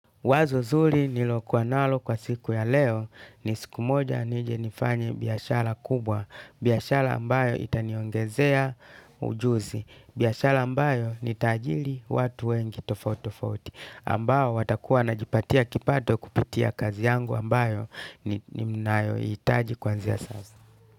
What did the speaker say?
Wazo zuri nilokuwa nalo kwa siku ya leo ni siku moja nije nifanye biashara kubwa, biashara ambayo itaniongezea ujuzi, biashara ambayo nitaajiri watu wengi tofati tofauti, ambao watakuwa wanajipatia kipato kupitia kazi yangu ambayo hitaji kuanzia sasa.